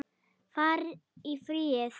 Far í friði.